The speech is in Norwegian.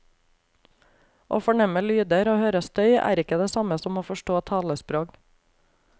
Å fornemme lyder og høre støy er ikke det samme som å forstå talesprog.